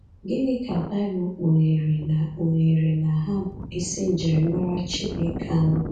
Gịnị ka baịbụl kpugheere na kpugheere na ha bụ isi njirimara Chineke anọ?